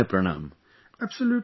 Do convey my pranam